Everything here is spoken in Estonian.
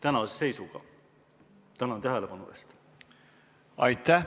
Aitäh!